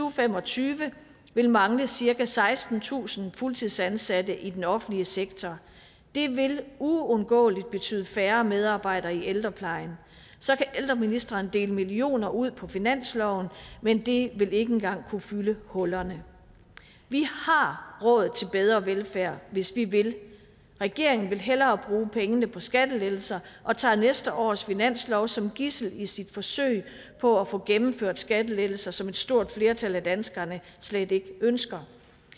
og fem og tyve vil mangle cirka sekstentusind fuldtidsansatte i den offentlige sektor det vil uundgåeligt betyde færre medarbejdere i ældreplejen så kan ældreministeren dele millioner ud på finansloven men det vil ikke engang kunne fylde hullerne vi har råd til bedre velfærd hvis vi vil regeringen vil hellere bruge pengene på skattelettelser og tager næste års finanslov som gidsel i sit forsøg på at få gennemført skattelettelser som et stort flertal af danskerne slet ikke ønsker